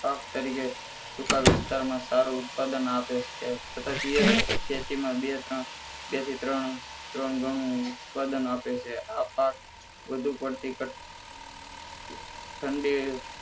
પાક તરીકે સૂકા વિસ્તારમાં સારું ઉત્પાદન આપે છે છતાં તેજ ખેતી માં બે ત્રણ બેથી ત્રણ ગણું ઉત્પાદન આપે છે આ પાક વધુ પડતી ઠંડી